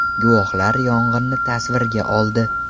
Guvohlar yong‘inni tasvirga oldi.